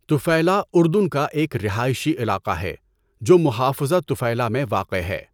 Tafilah اردن کا ایک رہائشی علاقہ ہے جو محافظہ طفیلہ میں واقع ہے۔